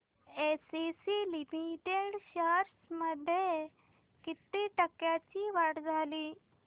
ACC limited shares मध्ये किती टक्क्यांची वाढ झाली